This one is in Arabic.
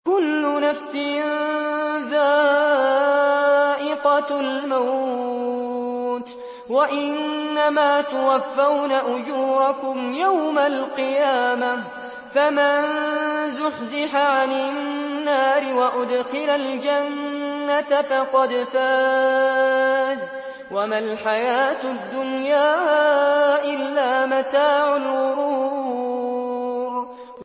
كُلُّ نَفْسٍ ذَائِقَةُ الْمَوْتِ ۗ وَإِنَّمَا تُوَفَّوْنَ أُجُورَكُمْ يَوْمَ الْقِيَامَةِ ۖ فَمَن زُحْزِحَ عَنِ النَّارِ وَأُدْخِلَ الْجَنَّةَ فَقَدْ فَازَ ۗ وَمَا الْحَيَاةُ الدُّنْيَا إِلَّا مَتَاعُ الْغُرُورِ